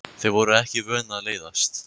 Þau voru ekki vön að leiðast.